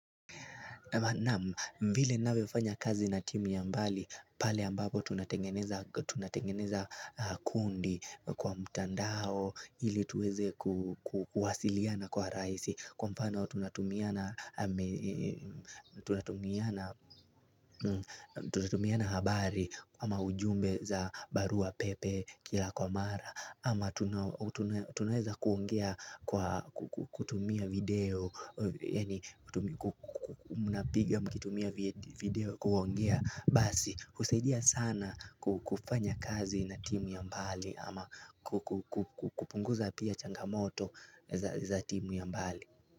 Naam vile naweza fanya kazi na timu ya mbali, pale ambapo tunatengeneza kundi kwa mtandao ili tuweze kuwasiliana kwa rahisi Kwa mfano tunatumiana habari ama ujumbe za barua pepe kila kwa mara ama tunaweza kuongea kwa kutumia video Yaani kutumia mnapiga mkitumia video kuongea Basi husaidia sana kufanya kazi na timu ya mbali ama kupunguza pia changamoto za timu ya mbali.